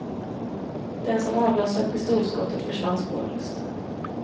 Den som avlossat pistolskottet försvann spårlöst.